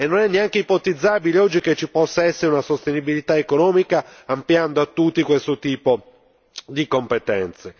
Non è neanche ipotizzabile, oggi, che ci possa essere una sostenibilità economica ampliando a tutti questo tipo di competenze.